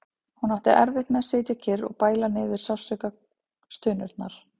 Hún átti erfitt með að sitja kyrr og bæla niður sársaukastunurnar.